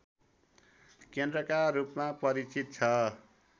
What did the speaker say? केन्द्रका रूपमा परिचित छ